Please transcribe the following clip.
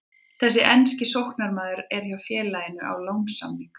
Þessi enski sóknarmaður er hjá félaginu á lánssamningi.